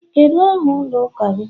Kedu aha ụlọ ụka gị?